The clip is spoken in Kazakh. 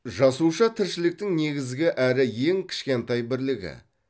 жасуша тіршіліктің негізгі әрі ең кішкентай бірлігі